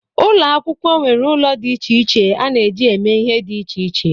Ụlọ akwụkwọ nwere ụlọ dị iche iche a na-eji eme ihe dị iche iche